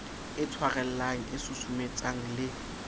e tshwarellang e susumetsang le